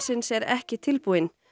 yfirvinnubannsins er ekki tilbúin